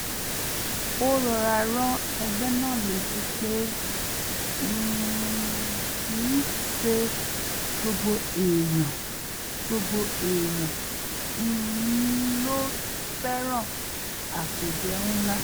ó rọra rán ẹgbẹ́ náà létí pé um kì í ṣe gbogbo èèyàn gbogbo èèyàn um ló fẹ́ràn àpéjẹ ńlá